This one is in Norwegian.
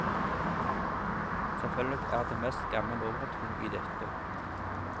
Selvfølgelig er det mest gammel overtro i dette.